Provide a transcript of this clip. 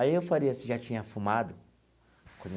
Aí eu faria se já tinha fumado.